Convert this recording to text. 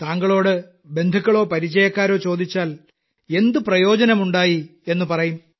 താങ്കളോട് ബന്ധുക്കളോ പരിചയക്കാരോ ചോദിച്ചാൽ എന്തു പ്രയോജനമുണ്ടായി എന്നു പറയും